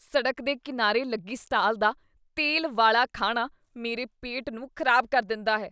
ਸੜਕ ਦੇ ਕੀਨਾਰੇ ਲੱਗੀ ਸਟਾਲ ਦਾ ਤੇਲ ਵਾਲੇ ਖਾਣਾ ਮੇਰੇ ਪੇਟ ਨੂੰ ਖ਼ਰਾਬ ਕਰ ਦਿੰਦਾ ਹੈ।